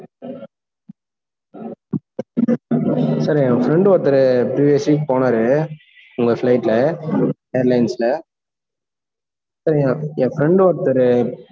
sir என் friend ஒருத்தரு, USA கு போனாரு, உங்க flight ல air lines ல sir என் friend ஒருத்தரு,